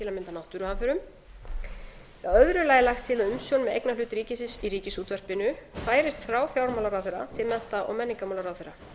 til að mynda náttúruhamförum í öðru lagi er lagt til að umsjón með eignarhluta ríkisins í ríkisútvarpinu færist frá fjármálaráðherra til mennta og menningarmálaráðherra